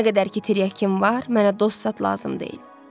Nə qədər ki tiryəki var, mənə dost zad lazım deyil.